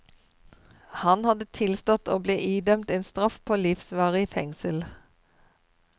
Han hadde tilstått og ble idømt en straff på livsvarig fengsel.